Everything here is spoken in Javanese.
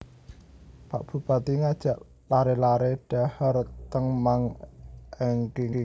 Pak Bupati ngajak lare lare dhahar ten Mang Engking